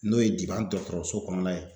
N'o ye biban dɔgɔtɔrɔso kɔnɔna ye